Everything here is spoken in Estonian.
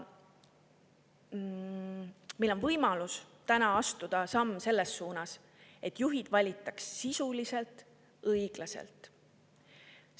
Meil on võimalus täna astuda samm selles suunas, et juhid valitaks sisuliselt õiglaselt.